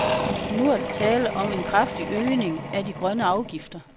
Men nu er der tale om en kraftig øgning af de grønne afgifter.